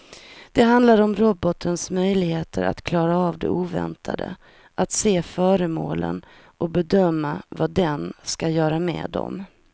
Det handlar om robotens möjlighet att klara av det oväntade, att se föremålen och bedöma vad den ska göra med dem.